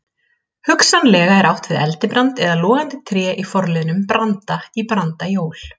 Hugsanlega er átt við eldibrand eða logandi tré í forliðnum branda- í brandajól.